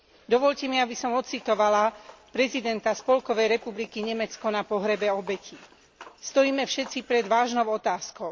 Dovoľte mi, aby som odcitovala prezidenta Spolkovej republiky Nemecko na pohrebe obetí Stojíme všetci pred vážnou otázkou.